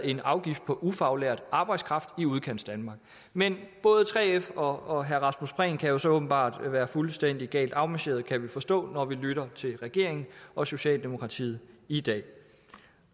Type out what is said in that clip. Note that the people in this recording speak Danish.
en afgift på ufaglært arbejdskraft i udkantsdanmark men både 3f og herre rasmus prehn kan jo så åbenbart være fuldstændig galt afmarcheret kan vi forstå når vi lytter til regeringen og socialdemokratiet i dag